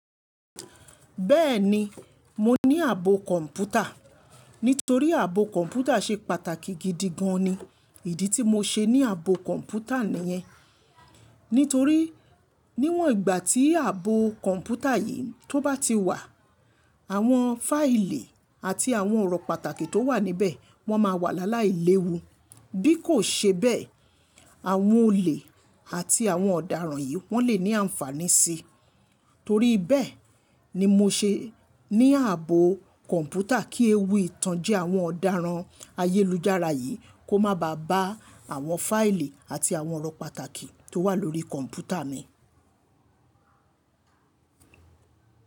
Bẹ́ẹ̀ni, mo ní ààbò kọ̀ǹpútà. Nítorí ààbò kọ̀ǹpútà ṣe pàtàkì gidi gan ni. Ìdí tí mo ṣe ní ààbò kọ̀ǹpútà nìyẹn. Nítorí níwọ̀n ìgbà tí ààbò kọ̀ǹpútà yìí tó bá ti wà, àwọn fáìlì àti àwọn ọ̀rọ̀ pàtàkì tó wà níbẹ̀ wọ́n máa wà lááláí léwu. Bí kò ṣe bẹ́ẹ̀, àwọn olè àti àwọn ọ̀daràn yìí wọ́n lè ní àǹfàní sí i. Torí bẹ́ẹ̀ ni mo ṣe ní ààbò kọ̀ǹpútà kí ewu ìtànjẹ àwọn ọ̀daràn ayélujára yìí kó má ba bá àwọn fáìlì àti àwọn ọ̀rọ̀ pàtàkì tó wà lórí kọ̀ǹpútà mi.